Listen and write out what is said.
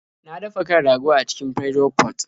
Na dafa kan rago a cikin Pressure pot.